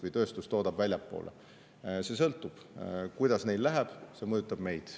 See sõltub sellest, kuidas läheb, ja see mõjutab ka meid.